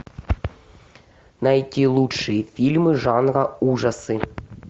найти лучшие фильмы жанра ужасы